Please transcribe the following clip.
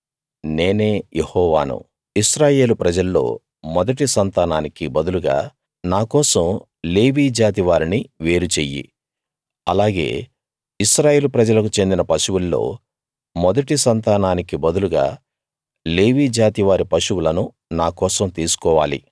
నేనే యెహోవాను ఇశ్రాయేలు ప్రజల్లో మొదటి సంతానానికి బదులుగా నాకోసం లేవీ జాతి వారిని వేరు చెయ్యి అలాగే ఇశ్రాయేలు ప్రజలకు చెందిన పశువుల్లో మొదటి సంతానానికి బదులుగా లేవీ జాతి వారి పశువులను నాకోసం తీసుకోవాలి